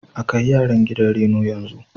A kai yaran gidan reno yanzu.